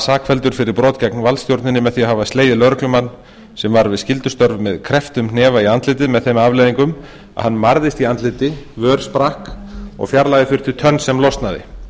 sakfelldur fyrir brot gegn valdstjórninni með því að hafa slegið lögreglumann sem var við skyldustörf með krepptum hnefa í andlitið með þeim afleiðingum að hann marðist í andliti vör sprakk og fjarlægja þurfti tönn sem losnaði